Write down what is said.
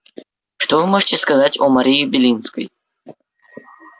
что вы можете сказать о марии белинской